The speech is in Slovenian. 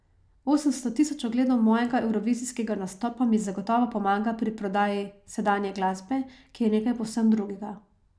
Osemsto tisoč ogledov mojega evrovizijskega nastopa mi zagotovo pomaga pri prodaji sedanje glasbe, ki je nekaj povsem drugega.